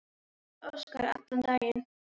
Páll Óskar allan daginn.